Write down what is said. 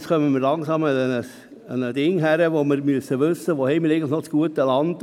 Jetzt müssen wir uns langsam überlegen, wo wir noch gutes Land haben.